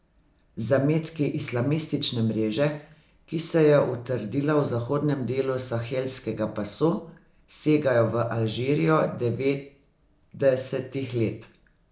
Zametki islamistične mreže, ki se je utrdila v zahodnem delu sahelskega pasu, segajo v Alžirijo devetdesetih let.